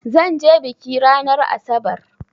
Zan je biki ranar asabar.